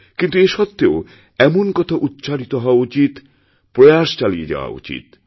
কিন্তু এ সত্ত্বেও এমন কথা উচ্চারিত হওয়া উচিত প্রয়াস চালিয়েযাওয়া উচিত